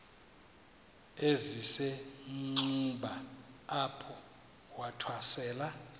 esisenxuba apho wathwasela